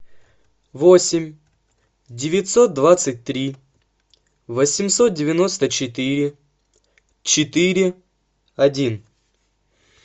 восемь девятьсот двадцать три восемьсот девяносто четыре четыре один